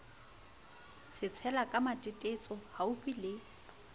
tsetsela ke matetetso haufi le